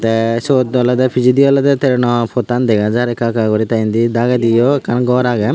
tay siyot olode pijedi olode train no pottan dega jar ekka ekka guri tay indi dagendiyo ekkan gor agey.